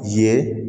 Ye